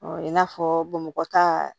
i n'a fɔ bamakɔ ta